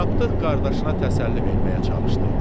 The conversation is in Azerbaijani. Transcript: Tapdıq qardaşına təsəlli verməyə çalışdı.